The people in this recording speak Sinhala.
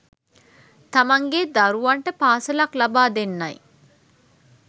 තමන්ගේ දරුවන්ට පාසලක් ලබා දෙන්නයි